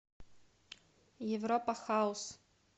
европа хаус